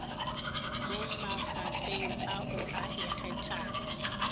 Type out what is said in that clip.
mo mafapheng ao a ikgethang